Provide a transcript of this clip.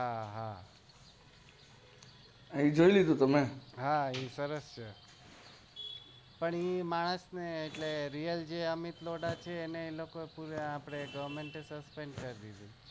જોઈ લીધું તમે એ સરસ છે પણ એ માણસ ને જે real જે અમિત લોઢા છે એને એ લોકો goverment એ susspend કરી દીધું